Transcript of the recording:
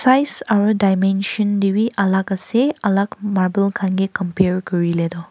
tials aru diamention te tu alag ase alag marble khan ke campers kori letu.